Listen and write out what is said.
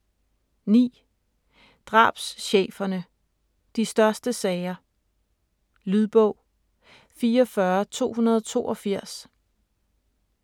9. Drabscheferne - de største sager Lydbog 44282